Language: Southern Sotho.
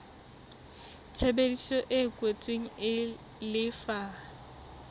tshebedisano e kwetsweng e lefa